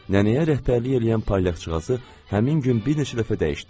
Nənəyə rəhbərlik eləyən palyaqçıqası həmin gün bir neçə dəfə dəyişdilər.